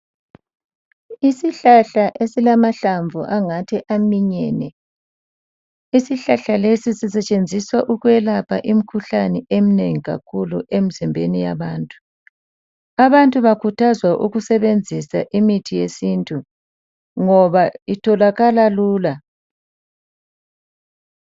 Isihlahla esilamahlamvu angathi aminyene ,isihlahla lesi sisetshenziswa ukuyelapha imikhuhlane eminengi kakhulu emizimbeni yabantu. Abantu bakhuthazwa ukusebenzisa imithi yesintu ngoba itholakala lula.